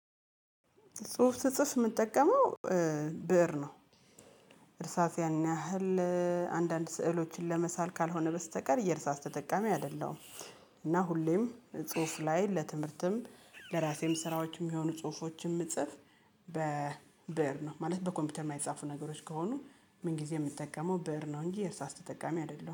ጽሁፍ ስጽፍ የምጠቀመው ብእር ነው። እርሳስ ያን ያህል አንዳንድ ስዕሎችን ለመሳል ካልሆነ በስተቀር የእርሳ ተጠቃሚ አይደለሁም። እና ሁሌም ጽሁፍ ላይ ለትምህርትም ለራሴም ስራዎች እሚሆኑ ጽሁፎችን እምጽፍ በብእር ነው። ማለት በኮምፒውተር እማይጻፉ ነገሮች ከሆኑ ምን ጊዜም እምጠቀመው ብእር ነው እንጂ የእርሳስ ተጠቃሚ አይደለሁም